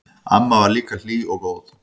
Amma var líka hlý og góð.